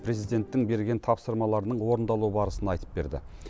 президенттің берген тапсырмаларының орындалу барысын айтып берді